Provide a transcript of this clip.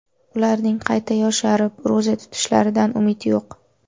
Ularning qayta yosharib, ro‘za tutishlaridan umid yo‘q.